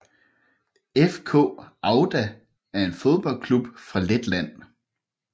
FK Auda er en fodboldklub fra Letland